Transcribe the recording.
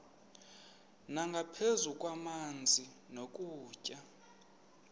nangaphezu kwamanzi nokutya